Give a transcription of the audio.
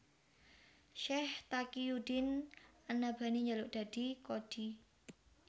Syaikh Taqiyuddin an Nabhani njaluk dadi qadhi